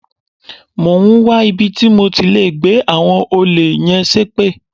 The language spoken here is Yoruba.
Mò ń wá ibi tí mo ti lè gbẹ́ àwọn olè yẹn ṣépè.